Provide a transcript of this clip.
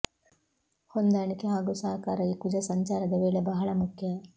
ಹೊಂದಾಣಿಕೆ ಹಾಗೂ ಸಹಕಾರ ಈ ಕುಜ ಸಂಚಾರದ ವೇಳೆ ಬಹಳ ಮುಖ್ಯ